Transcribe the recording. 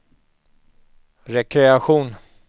rekreation